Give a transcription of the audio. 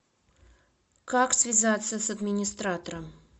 как связаться с администратором